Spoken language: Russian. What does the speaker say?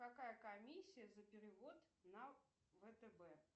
какая комиссия за перевод на втб